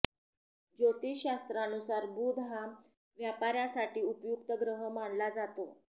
ज्योतिष शास्त्रानुसार बुध हा व्यापाऱ्यासाठी उपयुक्त ग्रह मानला जातो